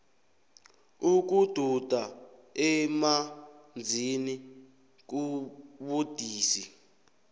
ukududa emanzini kubudisi